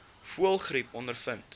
voëlgriep ondervind